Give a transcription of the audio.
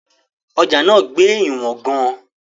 Ọjà náà gbé ìwọ̀n gan-an.